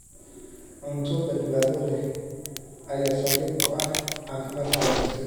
Cunto badbaado leh ayaa saldhig u ah caafimaadka wanaagsan.